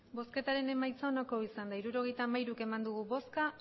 emandako botoak hirurogeita hamairu bai